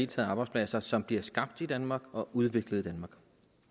taget arbejdspladser som bliver skabt i danmark og udviklet